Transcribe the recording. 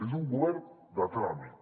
és un govern de tràmit